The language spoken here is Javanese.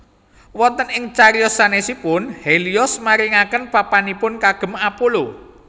Wonten ing cariyos sanèsipun Helios maringaken papanipun kagem Apollo